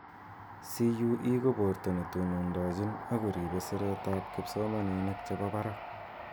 CUE ko borto ne tonondojin ako ripe siret ap kipsomaninik chebo barak.